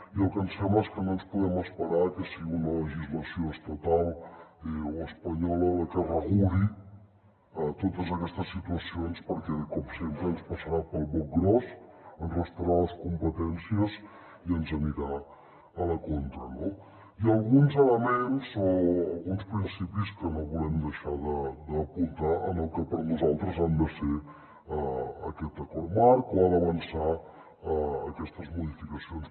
i el que ens sembla és que no ens podem esperar a que sigui una legislació estatal o espanyola la que reguli totes aquestes situacions perquè com sempre ens passarà pel boc gros ens restarà les competències i ens anirà a la contra no i alguns elements o alguns principis que no volem deixar d’apuntar en el que per nosaltres ha de ser aquest acord marc o han d’avançar aquestes modificacions